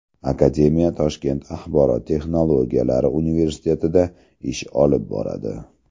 Akademiya Toshkent axborot texnologiyalari universitetida ish olib boradi.